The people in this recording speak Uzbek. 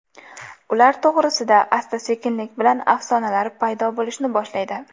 Ular to‘g‘risida asta-sekinlik bilan afsonalar paydo bo‘lishni boshlaydi.